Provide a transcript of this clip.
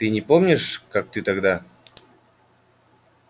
ты не помнишь как ты тогда